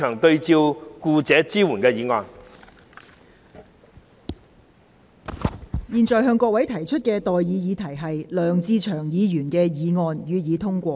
我現在向各位提出的待議議題是：梁志祥議員動議的議案，予以通過。